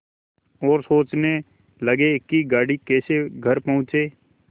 और सोचने लगे कि गाड़ी कैसे घर पहुँचे